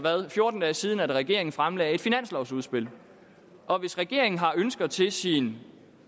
fjorten dage siden at regeringen fremlagde et finanslovudspil og hvis regeringen har ønsker til sin